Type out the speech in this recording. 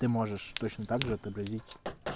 ты можешь точно также отобразить